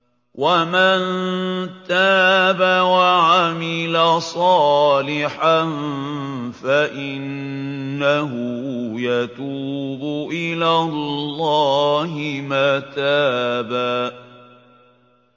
وَمَن تَابَ وَعَمِلَ صَالِحًا فَإِنَّهُ يَتُوبُ إِلَى اللَّهِ مَتَابًا